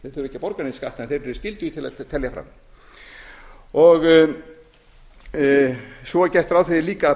að borga neinn skatt en þeir eru skyldugir til að telja fram svo er gert ráð fyrir eiga að